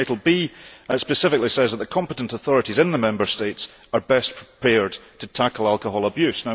Recital B specifically says that the competent authorities in the Member States are best prepared to tackle alcohol abuse.